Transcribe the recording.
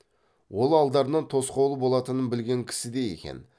ол алдарынан тосқауыл болатынын білген кісідей екен